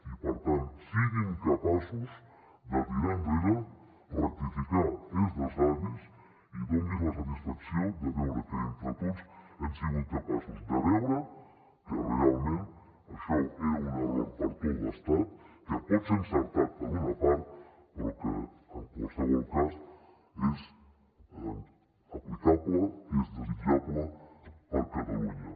i per tant siguin capaços de tirar enrere rectificar és de savis i donin nos la satisfacció de veure que entre tots hem sigut capaços de veure que realment això era un error per a tot l’estat que pot ser encertat per a una part però que en qualsevol cas és aplicable és desitjable per a catalunya